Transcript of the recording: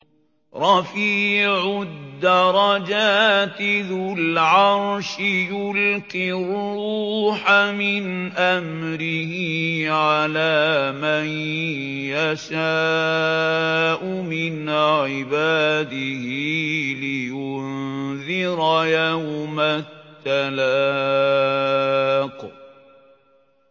رَفِيعُ الدَّرَجَاتِ ذُو الْعَرْشِ يُلْقِي الرُّوحَ مِنْ أَمْرِهِ عَلَىٰ مَن يَشَاءُ مِنْ عِبَادِهِ لِيُنذِرَ يَوْمَ التَّلَاقِ